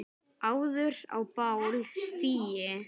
áður á bál stigi